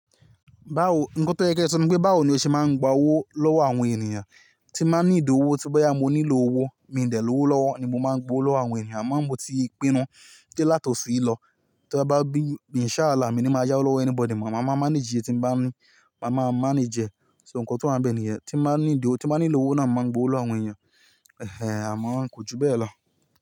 Báwo, nǹkan tó yẹ kẹ sọ ni pé báwo ni o ṣe máa ń gba owó lọ́wọ́ àwọn ènìyàn, tí máa ń níìdí owó, tí boyà mo nílò owó, mi ń dẹ̀ lọ́wọ́ lọ́wọ́ ni mo máa ń gba owó lówó àwọn ènìyàn, m máa ń wò ti ìpinnu pé láti ọ̀su yì lọ, te bá bí, ínṣha ààlà mi ni máa yá ọ́wo lọ́wọ́ anybody, màá máa manage e tí m bá ní, màá máa manage ẹ. So nǹkan tó wà bẹ́ẹ̀ nìyẹn, tí máa ń ní ìdí owó, tí máa ń nílò owó náà, mo máa ń gba owó àwọn ènìyàn, àmọ́ kò ju bẹ́ẹ̀ lọ.